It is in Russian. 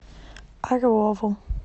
орлову